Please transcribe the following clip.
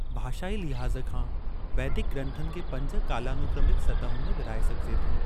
भाषाई लिहाज़ खां, वैदिक ग्रंथनि खे पंज कालानुक्रमिक सतहुनि में विरहाए सघिजे थो।